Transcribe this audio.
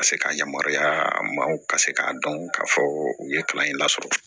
Ka se ka yamaruya maaw ka se k'a dɔn k'a fɔ u ye kalan in lasɔrɔ